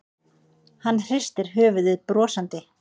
Hann hristir höfuðið brosandi.